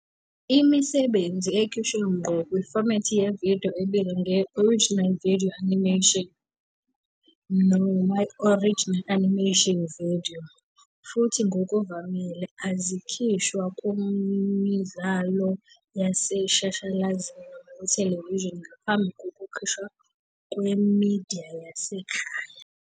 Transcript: Imisebenzi ekhishwe ngqo kufomethi yevidiyo ibizwa nge- " original video animation " noma "original animation video" futhi ngokuvamile azikhishwa kumidlalo yaseshashalazini noma kuthelevishini ngaphambi kokukhishwa kwemidiya yasekhaya.